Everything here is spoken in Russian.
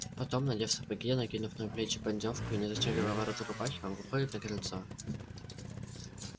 потом надев сапоги накинув на плечи поддёвку и не застёгивая ворота рубахи он выходит на крыльцо